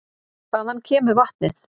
Hvaðan kemur vatnið?